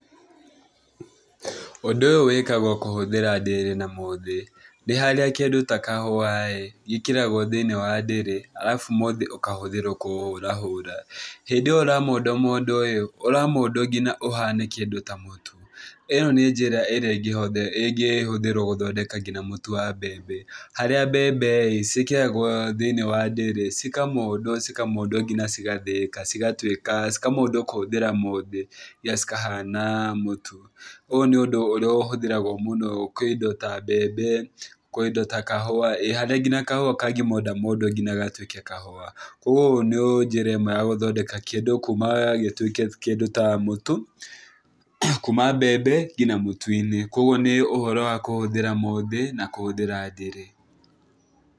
Ũndũ ũyũ wĩkagwo kũhũthĩra ndĩrĩ na mũthĩ. Nĩ harĩa kĩndũ ta kahũa-ĩ gĩkĩragwo thĩinĩ wa ndĩrĩ arabu mũthĩ ũkahũthĩrwo kũhũra hũra. Hĩndĩ ĩyo ũramondamondwo-ĩ, ũramondwo nginya ũhane kĩndũ ta mũtu. ĩno nĩ njira ĩngĩhũthĩrwo guthondeka nginya mũtu wa mbembe, harĩa mbembe ciĩkĩragwo thĩinĩ wa ndĩrĩ, cikamondwo cikamondwo nginya cigathĩĩka cigatuĩka, cikamondwo kũhũthĩra mũthĩ nginya cikahana mũtu. Ũyũ nĩ ũndũ ũrĩa ũhũthĩragwo mũno kwĩ indo ta mbembe, kwĩ indo ta kahũa, harĩa kahũa kangĩmondamondwo nginya gatuĩke kahũa. Koguo ũũ nĩ njĩra ĩmwe ya gũthondeka kĩndũ kuma gĩtuike kĩndũ ta mũtu, kuma mbembe nginya mũtu-inĩ. Koguo nĩ ũhoro wa kũhũthira mũthĩ na kũhũthĩra ndĩrĩ.